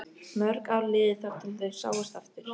Mörg ár liðu þar til þau sáust aftur.